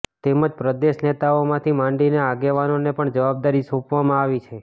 તેમ જ પ્રદેશ નેતાઓથી માંડીને આગેવાનોને પણ જવાબદારી સોંપવામાં આવી છે